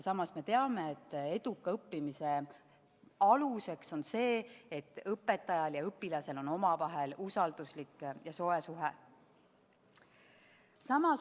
Samas me teame, et eduka õppimise aluseks on see, et õpetajal ja õpilasel on omavahel usalduslik ja soe suhe.